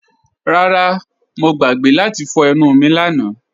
Rárá, Mọ̀ gbàgbé láti fọ̀ ènù mí lànà